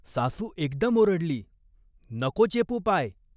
सासू एकदम ओरडली "नको चेपू पाय.